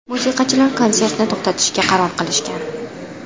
Musiqachilar konsertni to‘xtatishga qaror qilishgan.